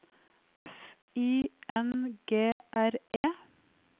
F I N G R E